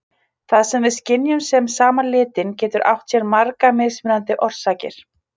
Það sem við skynjum sem sama litinn getur átt sér margar mismunandi orsakir.